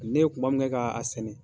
Ne ye kuma min kɛ k'a sɛnɛ.